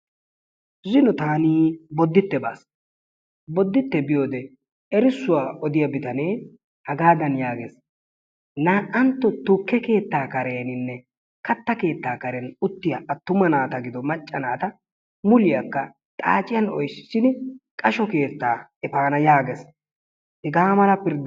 Zino taani bodite baasi. Boditte biyode erissuwaa odiya bittanee hagaadan yaagees"naa'antto tukke keettaa kareninne katta keetta karen uttiya attuma naatanne macca naata muliyakka xaacciyan oyttissidi qasho keettaa efana yaagees. Hegaa mala pirdda.